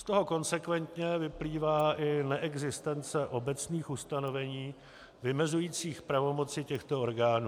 Z toho konsekventně vyplývá i neexistence obecných ustanovení vymezujících pravomoci těchto orgánů.